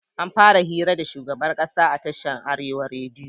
Anfara hira da shugaban ƙasa a tashin arewa rediyo